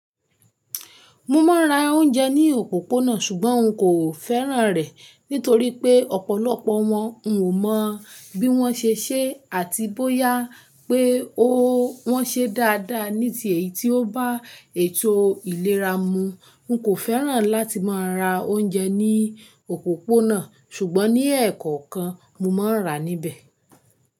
Mo máa ń ra oúnjẹ ní òpópónà ṣùgbọ́n n kò fẹ́ràn rẹ̀ nítorí pé ọ̀pọ̀lọpọ̀ wọn, n ò mọ bí wọ́n ṣe ṣé àti bóyá pé ó wọ́n ṣe dáadáa ní tì èyí tí ó bá ètò ìlera mu. N kò fẹ́ràn láti máa ra oúnjẹ ní òpópónà ṣùgbọ́n ní ẹ̀ẹ̀kọ̀kan, mo máa ń rà níbẹ̀